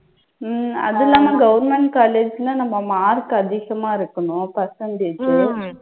உம் அது இல்லாம government college ன்னா நம்ம mark அதிகமா இருக்கணும் percentage உ